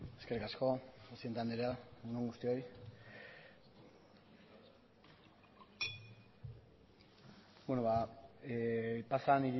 eskerrik asko presidente andrea egun on guztioi beno ba pasadan